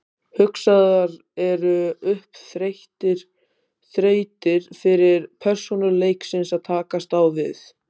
Hugsaðar eru upp þrautir fyrir persónur leiksins að takast á við.